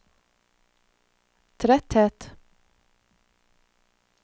tretthet